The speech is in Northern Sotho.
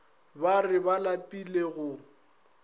ba re ba lapile go